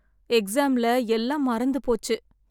எக்ஸாம்ல எல்லாம் மறந்து போச்சு.